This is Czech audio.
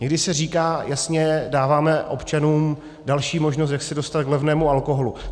Někdy se říká jasně, dáváme občanům další možnost, jak se dostat k levnému alkoholu.